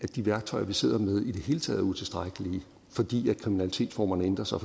de værktøjer vi sidder med i det hele taget er utilstrækkelige fordi kriminalitetsformerne ændrer sig